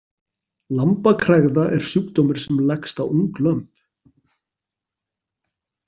Lambakregða er sjúkdómur sem leggst á ung lömb.